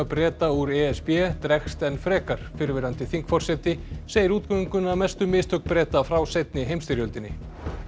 Breta úr e s b dregst enn frekar fyrrverandi þingforseti segir útgönguna mestu mistök Breta frá seinni heimstyrjöldinni